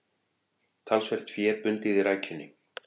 Talsvert fé bundið í rækjunni